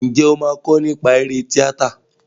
Ǹjẹ́ o máa kọ nípa eré tíátà?